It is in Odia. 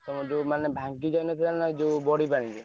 ତମର ଯଉ ମାନେ ଭାଙ୍ଗି ଯାଇନଥିଲାନା ଯଉ ବଢି ପାଣିରେ।